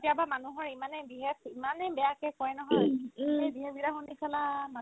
কেতিয়াবা মানুহৰ ইমানে behave ইমানে বেয়াকে কই নহয় সেই behave বিলাক শুনি ছাল্লা